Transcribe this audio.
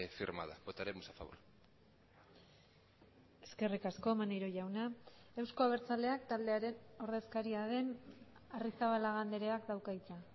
firmada votaremos a favor eskerrik asko maneiro jauna euzko abertzaleak taldearen ordezkaria den arrizabalaga andreak dauka hitza